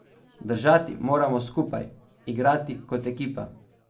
Držati moramo skupaj, igrati kot ekipa.